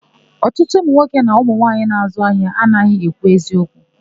Ọtụtụ ụmụnwoke na ụmụmwaanyị na-àzụ́ ahịa anaghị ekwu eziokwu.